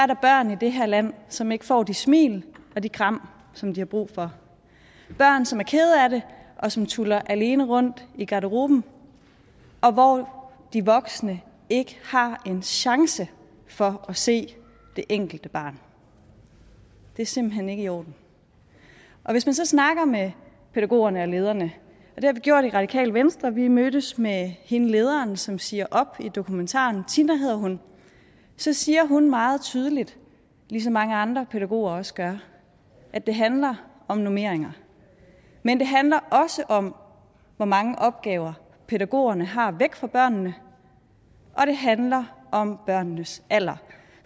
der børn i det her land som ikke får de smil og de kram som de har brug for børn som er kede af det og som tuller alene rundt i garderoben og hvor de voksne ikke har en chance for at se det enkelte barn det er simpelt hen ikke i orden og hvis man så snakker med pædagogerne og lederne det har vi gjort i radikale venstre for vi mødtes med hende lederen som siger op i dokumentaren tina hedder hun så siger hun meget tydeligt ligesom mange andre pædagoger også gør at det handler om normeringer men det handler også om hvor mange opgaver pædagogerne har væk fra børnene og det handler om børnenes alder